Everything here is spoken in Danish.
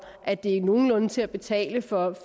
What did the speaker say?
at det er nogenlunde til at betale for